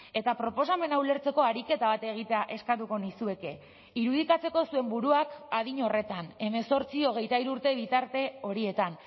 eta proposamena ulertzeko ariketa bat egitea eskatuko nizueke irudikatzeko zuen buruak adin horretan hemezortzi hogeita hiru urte bitarte horietan